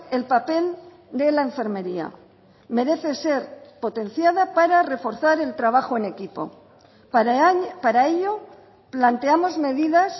el papel de la enfermería merece ser potenciada para reforzar el trabajo en equipo para ello planteamos medidas